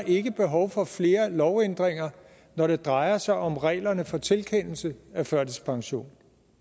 ikke er behov for flere lovændringer når det drejer sig om reglerne for tilkendelse af førtidspension